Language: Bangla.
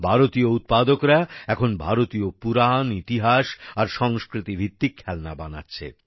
ভারতীয় উৎপাদকরা এখন ভারতীয় পুরাণ ইতিহাস আর সংস্কৃতি ভিত্তিক খেলনা বানাচ্ছে